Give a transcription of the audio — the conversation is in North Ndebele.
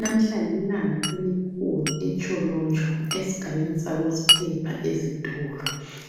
Namuhla lilanga elikhulu eTsholotsho, esigabeni sakosiphepha ezitolo.